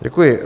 Děkuji.